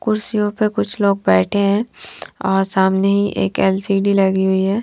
कुर्सियों पर कुछ लोग बैठे है और सामने एक एल_सी_डी लगी हुई है।